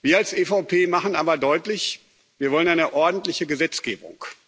Wir als EVP machen aber deutlich Wir wollen eine ordentliche Gesetzgebung.